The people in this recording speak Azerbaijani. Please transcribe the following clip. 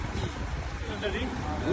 Yoxsa yox, çəkə bilərəm?